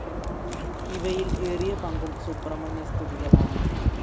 ഇവയിൽ ഏറിയ പങ്കും സുബ്രഹ്മണ്യസ്തുതികളാണ്.